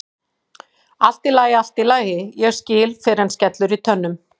Allt í lagi, allt í lagi, ég skil fyrr en skellur í tönnum.